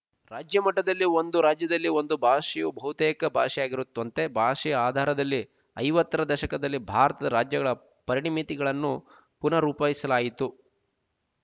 ರಾಜ್ಯ ಮಟ್ಟದಲ್ಲಿ ಒಂದು ರಾಜ್ಯದಲ್ಲಿ ಒಂದು ಭಾಷೆಯು ಬಹುತೇಕ ಭಾಷೆಯಾಗಿರುಥವಂತೆ ಭಾಷೆಯ ಆಧಾರದಲ್ಲಿ ಐವತ್ತರ ದಶಕದಲ್ಲಿ ಭಾರತದ ರಾಜ್ಯಗಳ ಪರಿಮಿತಿಗಳನ್ನು ಪುನರ್ರೂಪಿಸಲಾಯಿತು